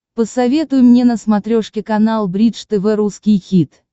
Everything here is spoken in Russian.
посоветуй мне на смотрешке канал бридж тв русский хит